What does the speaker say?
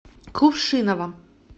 кувшиново